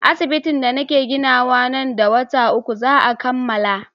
Asibitin da nake ginawa nan da wata uku za a kammala.